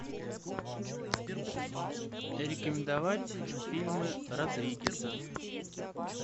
рекомендовать фильмы родригеса